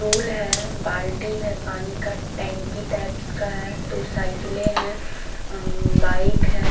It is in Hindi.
पुल है बाल्टी है पानी का टेंकी टाइप्स का है दो साईकिले है अम्म बाइक है।